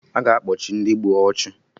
A ga-akpochi Ndị gburu ọchụ